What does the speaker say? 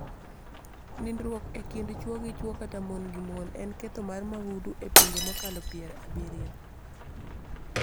Nindruok e kind chwo gi chwo kata mon gi mon en ketho mar mahundu e pinje mokalo pier abiriyo